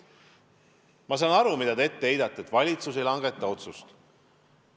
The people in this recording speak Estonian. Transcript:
Ma saan aru, mida te ette heidate: seda, et valitsus ei langeta otsust.